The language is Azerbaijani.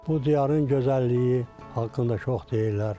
Bu diyarın gözəlliyi haqqında çox deyirlər.